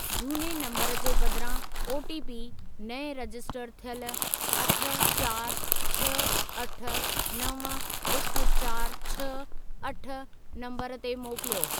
झूने नंबरु जे बदिरां ओटीपी नएं रजिस्टर थियल अठ चारि छ्ह अठ नव हिकु चारि छ्ह अठ नंबर ते मोकिलियो।